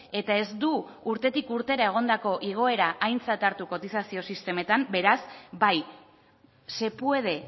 eta ez du urtetik urtera egondako igoera aintzat hartu kotizazio sistemetan beraz bai se puede